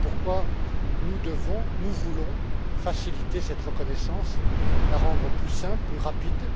Voilà pourquoi nous devons, nous voulons, faciliter cette reconnaissance, la rendre plus simple, plus rapide.